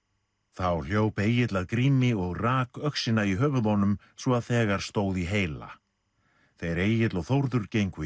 þá hljóp Egill að Grími og rak öxina í höfuð honum svo þegar stóð í heila þeir Egill og Þórður gengu í